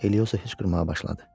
Elioza hıçqırmağa başladı.